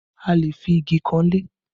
A lè fi igi kan ilé